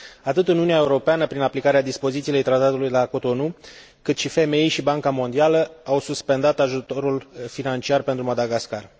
Atât Uniunea Europeană, prin aplicarea dispozițiilor Tratatului de la Cotonou, cât și FMI și Banca Mondială au suspendat ajutorul financiar pentru Madagascar.